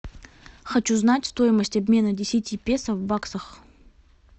хочу знать стоимость обмена десяти песо в баксах